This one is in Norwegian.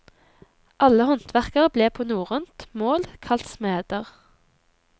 Alle håndverkere ble på norrønt mål kalt smeder.